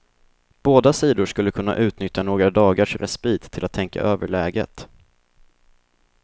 Båda sidor skulle kunna utnyttja några dagars respit till att tänka över läget.